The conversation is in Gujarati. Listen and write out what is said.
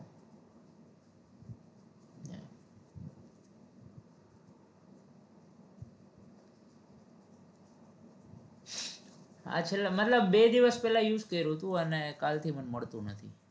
હા છેલ્લા મતલબ બે દિવસ પેલા use કર્યું હતું અને કાલથી મને મળતું નથી